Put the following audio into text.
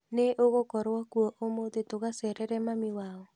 Nĩ ũgũkorwo kuo ũmũthĩ tũgacerere mami wao?